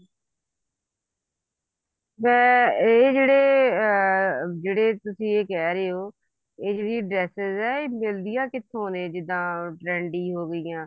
ਮੈਂ ਇਹ ਜਿਹੜੇ ਅਮ ਜਿਹੜੇ ਤੁਸੀਂ ਕਹਿ ਰਹੇ ਹੋ ਇਹ ਜਿਹੜੀ dresses ਨੇ ਇਹ ਮਿਲਦੀਆਂ ਕਿੱਥੋਂ ਨੇ ਜਿੱਦਾਂ trendy ਹੋਗੀਆਂ